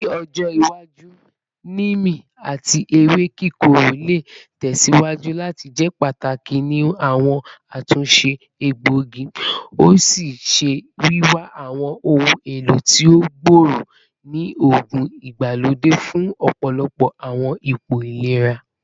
Ni ojo iwaju, neem ati ewe kikoro le tẹsiwaju lati jẹ pataki ni awọn atunṣe egboigi, o ṣee ṣe wiwa awọn ohun elo ti o gbooro ni oogun igbalode fun ọpọlọpọ awọn ipo ilera.